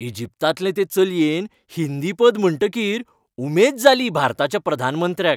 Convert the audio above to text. इजिप्तांतले ते चलयेन हिंदी पद म्हणटकीर उमेद जाली भारताच्या प्रधानमंत्र्याक.